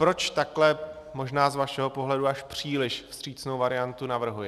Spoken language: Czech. Proč takhle možná z vašeho pohledu až příliš vstřícnou variantu navrhuji?